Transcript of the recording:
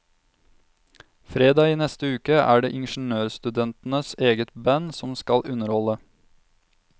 Fredag i neste uke er det ingeniørstudentenes eget band som skal underholde.